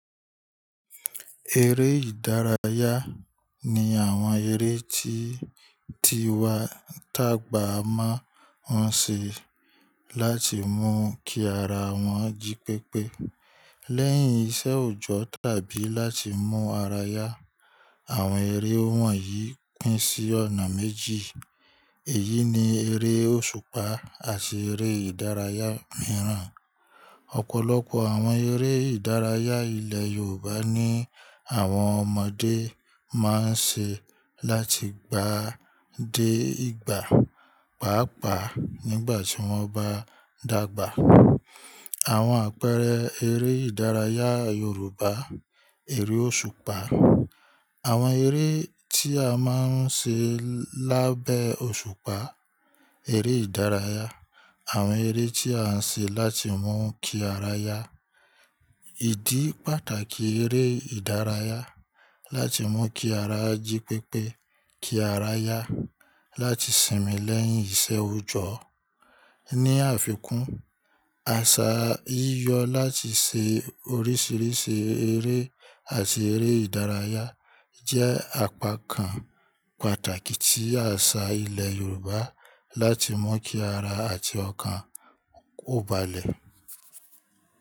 Eré ìdárayá ni àwọn eré tí tí wàá tàgbà máa ń ṣe láti mú kí ara wọn jí pépé lẹ́yìn iṣẹ́ òjọ́ tàbí láti mú ara yá. Àwọn eré wọ̀nyí pín sí ọ̀nà méjì, èyí ni eré òṣùpá àti eré ìdárayá mìíràn. Ọ̀pọ̀lọpọ̀ àwọn eré ìdárayá ilẹ̀ Yorùbá ni àwọn ọmọdé máa ń ṣe láti gbà dé ìgbà, pàápaà nígbà tí wọ́n bá dàgbà. Àwọn àpẹẹrẹ eré ìdárayá Yorùbá, eré òṣùpá. Àwọn eré tí a máa ń ṣe lábẹ́ òṣùpá, eré ìdárayá. Àwọn eré tí a ń ṣe láti mú kí ara yá. Ìdí pàtàkì eré ìdárayá, láti mú kí ara jí pépé, kí ara yá, láti sinmi lẹ́yìn iṣẹ́ òjọ́. Ni àfikún, àṣà yíyọ láti ṣe oríṣìíríṣìí eré àti eré ìdárayá jẹ́ àpá kan pàtàkì tí àṣà ilẹ̀ Yorùbá láti mú kí ara àti ọkàn ó balẹ̀.